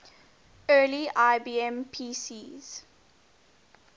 early ibm pcs